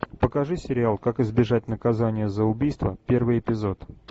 покажи сериал как избежать наказания за убийство первый эпизод